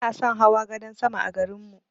Bana son hawa gadan sama a garin mu.